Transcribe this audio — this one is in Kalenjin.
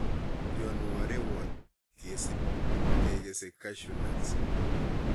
Yon woo rewot kesib kekese cashew nuts.